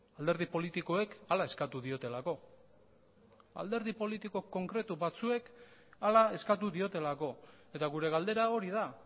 alderdi politikoek hala eskatu diotelako alderdi politiko konkretu batzuek hala eskatu diotelako eta gure galdera hori da